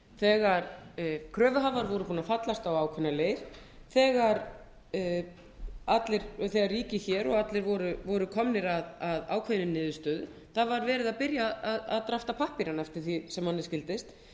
þegar kröfuhafar voru búnir að fallast á ákveðna leið þegar ríkið og allir voru komnir að ákveðinni niðurstöðu að var byrjað að prenta pappírana eftir því sem manni skildist